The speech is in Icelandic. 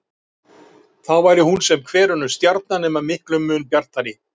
Þá væri hún sem hver önnur stjarna nema miklum mun bjartari.